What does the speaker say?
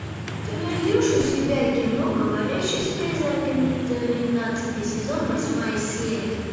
ты найдешь у себя кино говорящая с призраками тринадцатый сезон восьмая серия